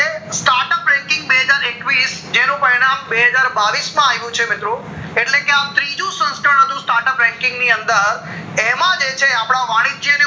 બે હજાર એકવીશ જેનું પરિણામ બેહજાર બાવીશ માં આવ્યું છે મીત્રી એટલે કે આ ત્રીજું સંસ્થા નું start up ranking ની અંદર એમાં જે છે અપડા વાણીજ્ય